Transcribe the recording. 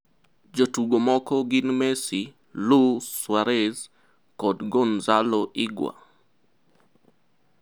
Jotugo moko gin Messi, Lu? Suarez (Barcelona) kod Gonzalo Higua? (Juventus).